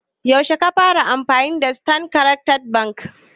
Yaushe ka fara amfani da standard chattered bank?